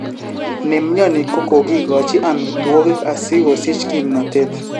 Nemyoni kokokikochi amitwokik asogosich kimnatet